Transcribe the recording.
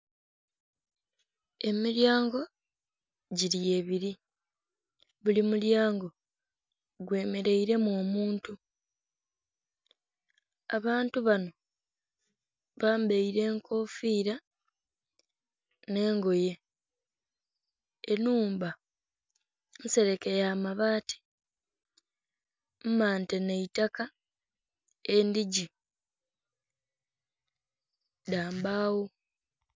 Emilyango gili ebili. Buli mulyango gwemeleiremu omuntu, abantu banho bambaire enkofiira nh'engoye. Ennhumba nsereke ya mabaati mmante nha itaka, endhigi dha mbagho.